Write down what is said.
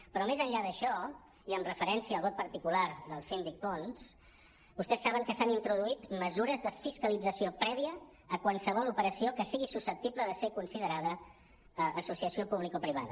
però més enllà d’això i amb referència al vot particular del síndic pons vostès saben que s’han introduït mesures de fiscalització prèvia a qualsevol operació que si·gui susceptible de ser considerada associació publicoprivada